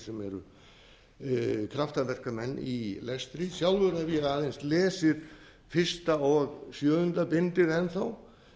sem eru kraftaverkamenn í lestri sjálfur hef ég aðeins lesið fyrsta og sjöunda bindið enn þá